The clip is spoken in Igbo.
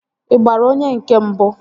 Ị gbara onye nke mbụ?